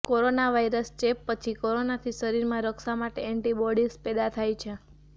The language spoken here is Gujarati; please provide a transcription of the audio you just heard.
કોરોનાવાયરસ ચેપ પછી કોરોનાથી શરીરમાં રક્ષા માટે એન્ટિબોડીઝ પેદા થાય છે